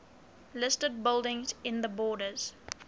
listed buildings in the borders